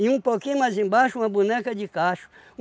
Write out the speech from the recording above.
E um pouquinho mais embaixo, uma boneca de cacho.